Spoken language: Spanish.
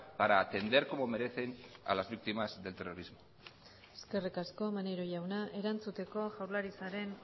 para atender como merecen a las víctimas del terrorismo eskerrik asko maneiro jauna erantzuteko jaurlaritzaren